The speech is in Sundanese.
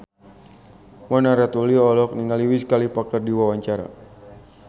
Mona Ratuliu olohok ningali Wiz Khalifa keur diwawancara